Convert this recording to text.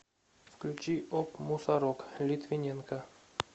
включи оп мусорок литвиненко